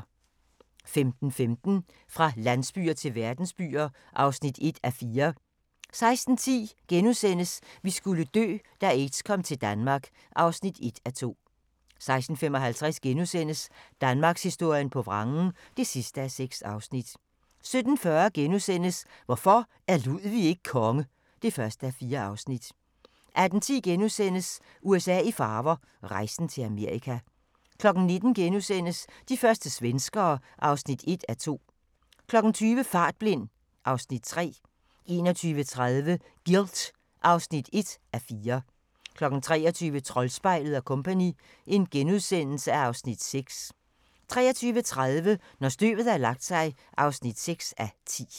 15:15: Fra landsbyer til verdensbyer (1:4) 16:10: Vi skulle dø – da aids kom til Danmark (1:2)* 16:55: Danmarkshistorien på vrangen (6:6)* 17:40: Hvorfor er Ludwig ikke konge? (1:4)* 18:10: USA i farver – rejsen til Amerika * 19:00: De første svenskere (1:2)* 20:00: Fartblind (Afs. 3) 21:30: Guilt (1:4) 23:00: Troldspejlet & Co. (Afs. 6)* 23:30: Når støvet har lagt sig (6:10)